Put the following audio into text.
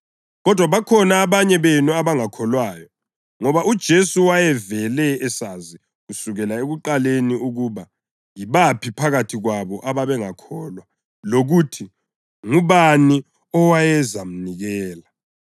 Kodwa bakhona abanye benu abangakholwayo.” Ngoba uJesu wayevele esazi kusukela ekuqaleni ukuba yibaphi phakathi kwabo ababengakholwa lokuthi ngubani owayezamnikela.